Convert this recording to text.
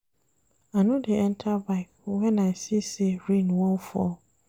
I no dey enta bike wen I see sey rain wan fall.